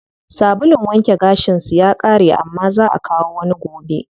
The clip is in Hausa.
Sabulun wanke gashin su ya ƙare amma zaa akawo wani gobe.